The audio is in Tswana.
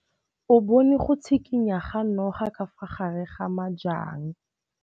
O bone go tshikinya ga noga ka fa gare ga majang.